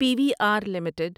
P V R limited